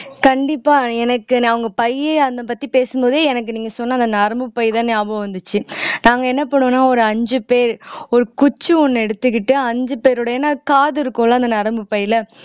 கண்டிப்பா எனக்கு அவங்க பையி அதைப் பத்தி பேசும் போதே எனக்கு நீங்க சொன்ன அந்த நரம்புப் பைதான் ஞாபகம் வந்துச்சு நாங்க என்ன பண்ணுவோம்ன்னா ஒரு அஞ்சு பேர் ஒரு குச்சி ஒண்ணு எடுத்துக்கிட்டு அஞ்சு பேரோட ஏன்னா காது இருக்கும்ல அந்த நரம்புப் பையில